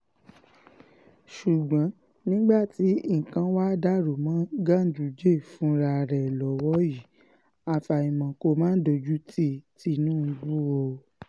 ṣùgbọ́n nígbà tí nǹkan wàá dàrú mọ́ ganduje fúnra ẹ̀ lọ́wọ́ yìí àfàìmọ̀ kó má dojútì tìǹbù o